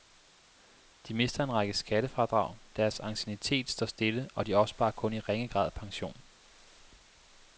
De mister en række skattefradrag, deres anciennitet står stille og de opsparer kun i ringe grad pension.